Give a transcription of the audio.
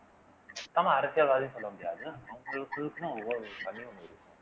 அரசியல்வாதின்னு சொல்ல முடியாது